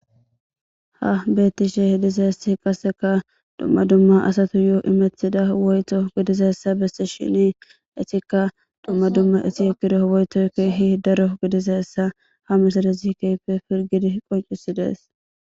Ha beetishe dizayssi qasseka dumma dumma asatuyo immetida woyto gidizayssa beesishini eetika dumma dumma etibire woytoy keehi daro gidizayssa ha misilezi keehippe pilgidi qoncisides.